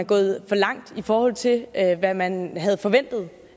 gået for langt i forhold til hvad man havde forventet